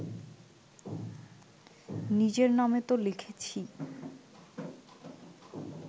নিজের নামে তো লিখেছিই